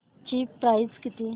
ची प्राइस किती